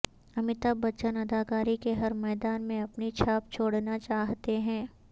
امیتابھ بچن اداکاری کے ہر میدان میں اپنی چھاپ چھوڑنا چاہتے ہیں